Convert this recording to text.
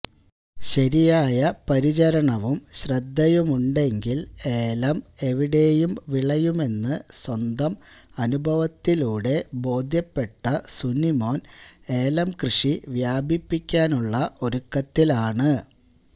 ശരിയായ പരിചരണവും ശ്രദ്ധയുമുണ്ടെങ്കിൽ ഏലം എവിടെയും വിളയുമെന്നു സ്വന്തം അനുഭവത്തിലൂടെ ബോധ്യപ്പെട്ട സുനിമോൻ ഏലം കൃഷി വ്യാപിപ്പിക്കാനുള്ള ഒരുക്കത്തിലാണ്